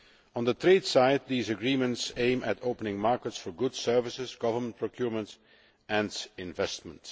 On the trade side, the agreements aim at opening markets for goods, services, government procurement and investment.